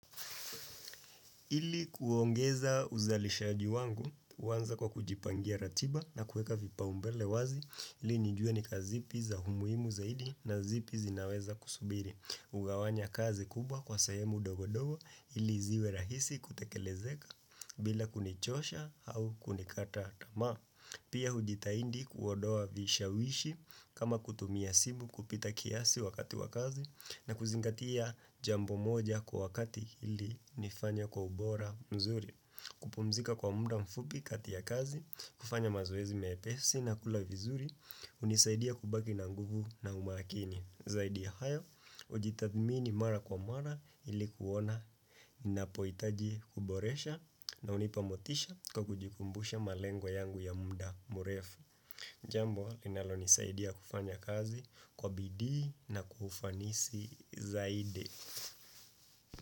Ili kuongeza uzalishaji wangu, huanza kwa kujipangia ratiba na kuweka vipaumbele wazi ili nijuwe ni kazi zipi za umuimu zaidi na zipi zinaweza kusubiri. Hugawanya kazi kubwa kwa sayemu dogo dogo ili ziwe rahisi kutekelezeka bila kunichosha au kunikata tama. Pia hujitaindi kuondoa vishawishi kama kutumia simu kupita kiasi wakati wakazi na kuzingatia jambo moja kwa wakati ili nifanye kwa ubora mzuri. Kupumzika kwa muda mfupi kati ya kazi, kufanya mazoezi mepesi na kula vizuri, hunisaidia kubaki na nguvu na umakini. Zaidi hayo, ujitathmini mara kwa mara ili kuona napoitaji kuboresha na hunipa motisha kwa kujikumbusha malengo yangu ya munda mrefu. Jambo, linalo nisaidia kufanya kazi kwa bidii na kufanisi zaidi.